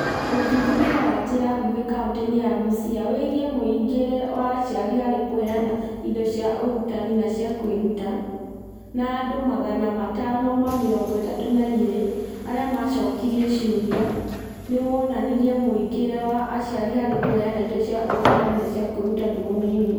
Ũthuthuria wa njĩra nguhĩ kaunti-inĩ ya Busia wĩgiĩ mũingĩre wa aciari harĩ kũheana indo cia ũrutani na cia kwĩruta, na andũ 532 arĩa maacokirio ciũria, nĩ wonanirie mũingĩre wa aciari harĩ kũheana indo cia ũrutani na cia kwĩruta nĩ mũnini.